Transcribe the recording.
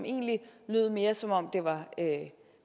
egentlig lød mere som om det var